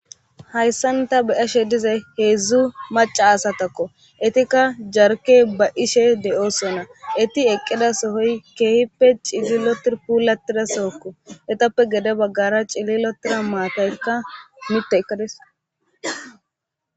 Hayssanta beyashe dize heedzdzu maca asatakko etikka jarke ba ishe de'oosona eti eqqida sohoy keehippe cillilotir puulatida sookko etappe gede baggara cillilotira maataykka mitte eqqades.